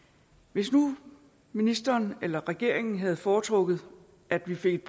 hvis nu ministeren eller regeringen havde foretrukket at vi fik